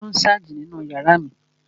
Taló n sáàjì nínu yàrá mi?